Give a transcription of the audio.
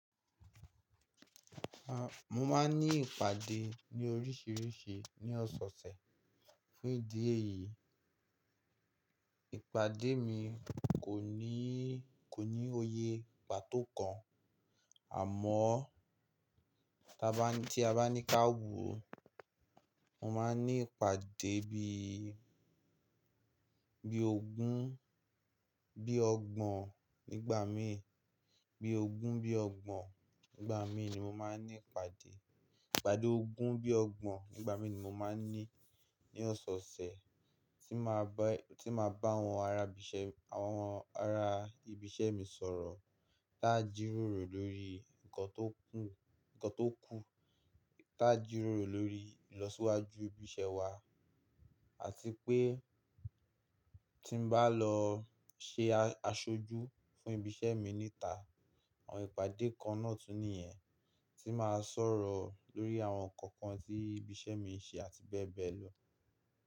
A, mo máa ń ní ìpàdé ní oríṣiríṣi ní ọ̀soosẹ̀ fún ìdí èyí. Ìpàdé mi kò ní, kò ní òye pàtó kan àmọ́ ti a ba ni tí a bá ní ká wò mo máa ń ní ìpàdé bí, bí ogún, bí ọgbọ̀n nígbà mi. Bí ogún, bí ọgbọ̀n nígbà mi ni mo máa ń ní ìpàdé. Ìpàdé ogún bí ọgbọ̀n nígbà mi ni mo máa ń ní ní ọ̀soosẹ̀ tí máa bá, tí máa bá àwọn arabiṣẹ́, àwọn ara ibiṣẹ́ mi sọ̀rọ̀ ta jíròrò lórí ǹkan tó kù, ǹkan tó kùm tí a jíròrò lórí ìlọsíwájú ibi iṣẹ́ wa. Àti pé tí n bá lọ ṣe aṣojú fún ibi iṣẹ́ mi níta. Àwọn ìpàdé kan náà tún nìyẹn tí màá sọ̀rọ̀ lórí àwọn ǹkan kan tí ibi iṣẹ́ mi ń ṣe àti bẹ́ẹ̀ bẹ́ẹ̀ lọ.